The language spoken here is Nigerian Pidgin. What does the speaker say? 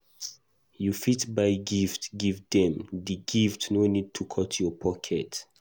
You fit buy gift give them, di gift no need to cut your pocket